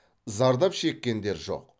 зардап шеккендер жоқ